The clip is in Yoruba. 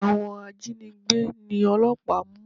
Àwọn ajínigbé ni ọlọ́pàá mú.